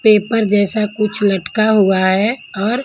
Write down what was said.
paper जैसा कुछ लटका हुआ है और--